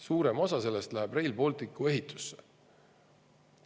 Suurem osa sellest läheb Rail Balticu ehitusse.